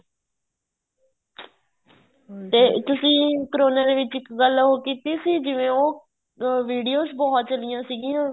ਤੇ ਤੁਸੀਂ ਕਰੋਨਾ ਦੇ ਵਿੱਚ ਇੱਕ ਗੱਲ ਉਹ ਕੀਤੀ ਸੀ ਜਿਵੇਂ ਉਹ videos ਬਹੁਤ ਚੱਲੀਆਂ ਸੀਗੀਆਂ